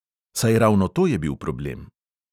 Saj ravno to je bil problem.